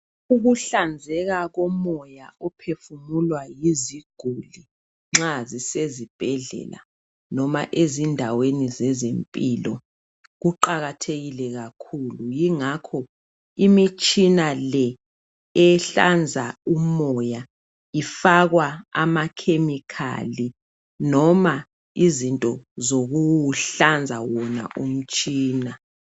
Ukuhlanzeka komoya ophefumulwa yiziguli nxa zisezibhedlela noma ezindaweni zezempilo kuqakathekile kakhulu yingakho imitshina le ehlanza umoya ifakwa ama chemical noma izinto zokuwuhlanza wona umtshina.